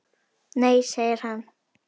Nei segir hann.